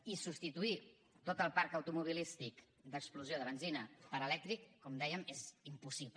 i substituir tot el parc automobilístic d’explosió de benzina per elèctric com dèiem és impossible